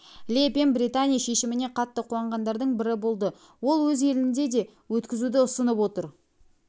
ле пен британия шешіміне қатты қуанғандардың бірі болды ол өз елінде де өткізуді ұсынып отыр